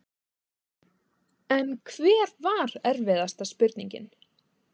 En hver var erfiðasta spurningin?